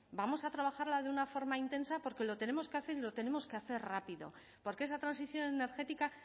vamos a trabajarla de una forma intensa porque lo tenemos que hacer y lo tenemos que hacer rápido porque esa transición energética